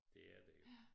Det er der jo